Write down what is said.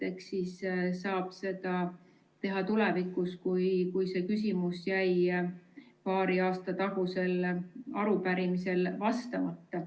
Eks siis saab seda teha tulevikus, kui see küsimus jäi paari aasta tagusel arupärimisel vastamata.